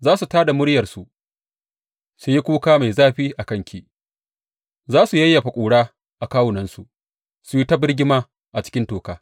Za su tā da muryarsu su yi kuka mai zafi a kanki; za su yayyafa ƙura a kawunansu, su yi ta birgima a cikin toka.